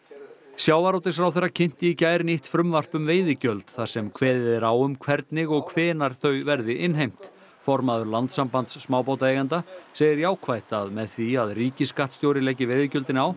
sjávarútvegsráðherra kynnti í gær nýtt frumvarp um veiðigjöld þar sem kveðið er á um hvernig og hvenær þau verði innheimt formaður Landssambands smábátaeigenda segir jákvætt að með því að ríkisskattstjóri leggi veiðigjöldin